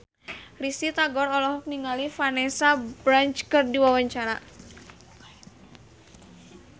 Risty Tagor olohok ningali Vanessa Branch keur diwawancara